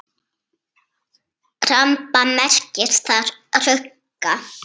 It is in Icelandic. Ramba merkir þar rugga.